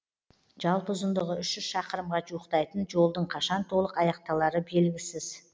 жалпы ұзындығы үш жүз шақырымға жуықтайтын жолдың қашан толық аяқталары белгісіз